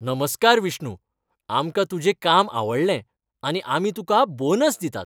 नमस्कार विष्णू, आमकां तुजें काम आवडलें आनी आमी तुका बोनस दितात.